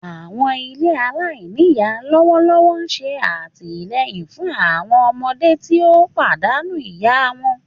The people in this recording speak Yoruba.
Àwọn ilé alainíyá lọwọlọwọ n ṣe àtìleyìn fun àwọn ọmọdé ti o pàdánù ìyá wọn.